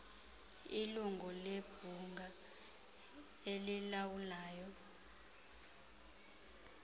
ilungu lebhunga elilawulayo